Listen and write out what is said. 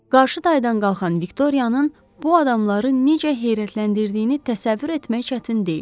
Qarşı daydan qalxan Viktorianın bu adamları necə heyrətləndirdiyini təsəvvür etmək çətin deyil.